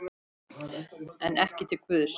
En ekki til Guðs.